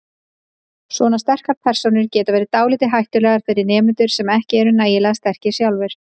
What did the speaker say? Svona sterkar persónur geti verið dálítið hættulegar fyrir nemendur sem ekki eru nægilega sterkir sjálfir.